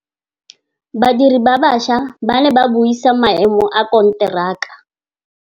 Badiri ba baša ba ne ba buisa maêmô a konteraka.